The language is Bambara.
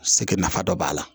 Se kɛ nafa dɔ b'a la